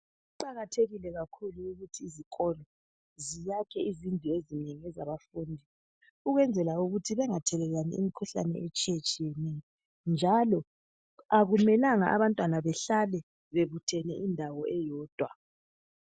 Kuqakathekile kakhulu ukuthi izikolo ziyakhe izindlu ezinengi ezabafundi ukwenzela ukuthi bengathelelani imkhuhlane etshiyatshiyeneyo njalo akumelanga abantwana behlale bebuthene endawo eyodwa.